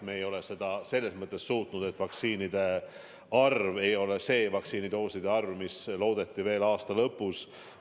Me ei ole seda suutnud, sest vaktsiinidooside arv ei ole see, mida loodeti veel aasta lõpus.